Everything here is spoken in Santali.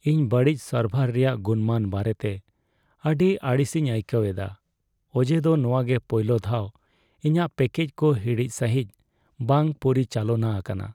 ᱤᱧ ᱵᱟᱹᱲᱤᱡ ᱥᱟᱨᱵᱷᱟᱨ ᱨᱮᱭᱟᱜ ᱜᱩᱱᱢᱟᱱ ᱵᱟᱨᱮᱛᱮ ᱟᱹᱰᱤ ᱟᱹᱲᱤᱥᱤᱧ ᱟᱹᱭᱠᱟᱹᱣ ᱮᱫᱟ, ᱚᱡᱮ ᱫᱚ ᱱᱚᱶᱟᱜᱮ ᱯᱳᱭᱞᱳ ᱫᱷᱟᱣ ᱤᱧᱟᱹᱜ ᱯᱮᱠᱮᱡ ᱠᱚ ᱦᱤᱲᱤᱡ ᱥᱟᱹᱦᱤᱡ ᱵᱟᱝ ᱯᱚᱨᱤᱪᱟᱞᱚᱱᱟ ᱟᱠᱟᱱᱟ ᱾